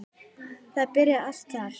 Þetta byrjaði allt þar.